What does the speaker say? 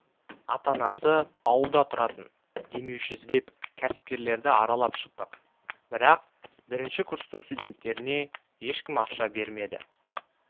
ата-анасы ауылда тұратын демеуші іздеп кәсіпкерлерді аралап шықтық бірақ бірінші курстың студенттеріне ешкім ақша бермеді